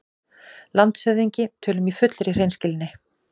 LANDSHÖFÐINGI: Tölum í fullri hreinskilni